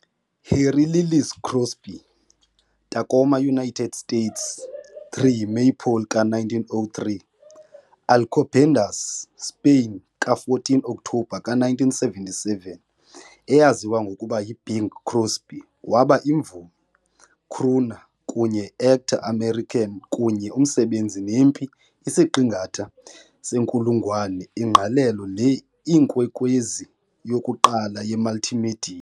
Harry Lillis Crosby, Tacoma, United States, 3 maypole ka- 1903 - Alcobendas, Spain, 14 ka-Oktobha ka- 1977 , eyaziwa ngokuba Bing Crosby waba imvumi, crooner, kunye Actor American kunye umsebenzi nempi isiqingatha senkulungwane ingqalelo le Inkwenkwezi yokuqala yemultimedia.